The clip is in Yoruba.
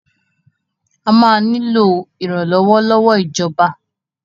A máa nílò ìrànlọ́wọ́ lọ́wọ́ ìjọba.